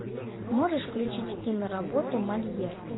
можешь включить киноработу мольер